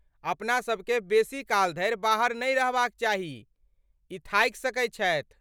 अपनासभ केँ बेसी काल धरि बाहर नहि रहबाक चाही, ई थाकि सकैत छथि।